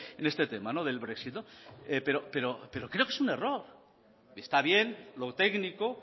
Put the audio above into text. en este tema del brexit pero creo que es un error está bien lo técnico